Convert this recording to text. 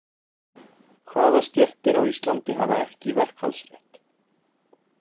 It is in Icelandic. Hvaða stéttir á Íslandi hafa ekki verkfallsrétt?